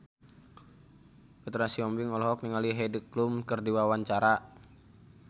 Petra Sihombing olohok ningali Heidi Klum keur diwawancara